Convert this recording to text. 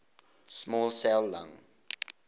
small cell lung